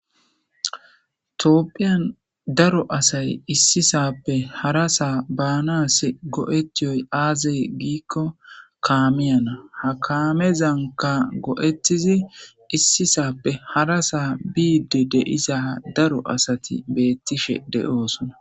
toopphiyan daro asay issisappe hara saa baanas go7ettiyoy aazey giikko kaameyana ha kaamezanka go7ettizi issisappe hara saa biide deiza daro asati beettishe de7oosona